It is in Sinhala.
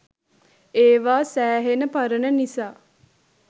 ඒවා සෑහෙන පරණ නිසා